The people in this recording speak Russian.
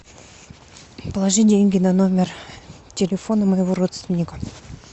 положи деньги на номер телефона моего родственника